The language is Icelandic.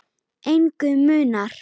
Engu munar.